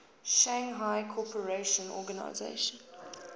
shanghai cooperation organization